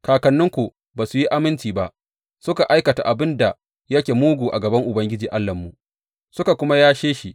Kakanninku ba su yi aminci ba; suka aikata abin da yake mugu a gaban Ubangiji Allahnmu, suka kuma yashe shi.